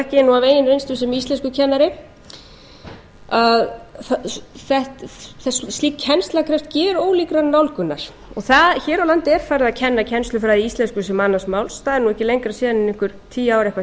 það þekki ég af eigin reynslu sem íslenskukennari að slík kennsla krefst gerólíkrar nálgunar hér á landi er farið að kenna kennslufræði í íslensku sem annars máls það er ekki lengra síðan en einhver tíu ár eða eitthvað slíkt